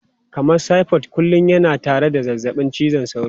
Kamar typhoid kullum yana tare da zazzabin cizon sauro.